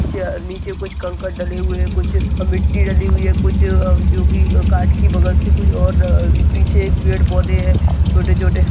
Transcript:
नीचे अ नीचे कुछ कंकर डले हुए है कुछ मिट्टी डली हुई है कुछ अ जो की काट की बगल से कोई और अ पीछे एक पेड़ पौधे है छोटे छोटे --